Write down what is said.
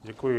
Děkuji.